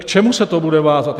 K čemu se to bude vázat?